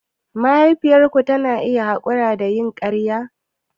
Mahaifiyarka tana iya haƙura da yin ƙarya?